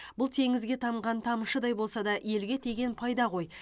бұл теңізге тамған тамшыдай болса да елге тиген пайда ғой